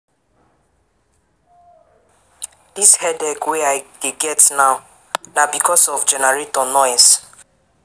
Dis headache wey I dey get now na because of generator noise.